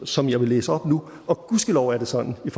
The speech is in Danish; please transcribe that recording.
som jeg vil læse op nu og gudskelov er det sådan i